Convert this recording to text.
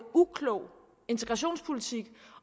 uklog integrationspolitik